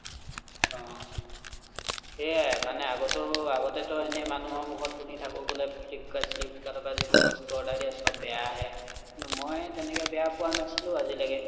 আহ সেয়াই মানে আগতো আগতে টো এনে মানুহৰ মুখত শুনি থাকো বোলে flipkart স্লিপ্কাৰ্ত ৰ পৰা যিবোৰ বস্তু order দিয়ে চব বেয়া আহে কিন্তু মই তেনেকে বেয়া পোৱা নাছিলো আজিলৈকে